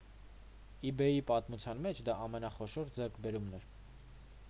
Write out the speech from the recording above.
իբեյի պատմության մեջ դա ամենախոշոր ձեռքբերումն է